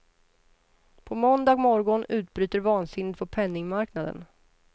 På måndag morgon utbryter vansinnet på penningmarknaden.